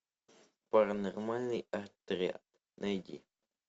паранормальный отряд найди